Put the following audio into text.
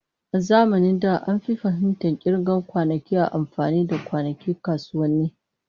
A zamanin da, an fi fahimtar kirga kwanakin ta amfani da kwanakin kasuwanni.